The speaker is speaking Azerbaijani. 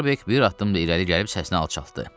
Starbek bir addım da irəli gəlib səsini alçaltdı.